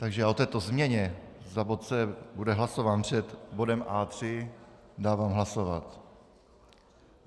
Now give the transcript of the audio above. Takže o této změně, bod C bude hlasován před bodem A3, dávám hlasovat.